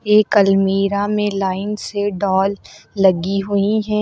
एक अलमीरा में लाइन से डॉल लगी हुई हैं।